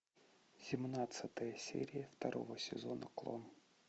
семнадцатая серия второго сезона клон